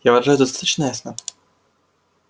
я выражаюсь достаточно ясно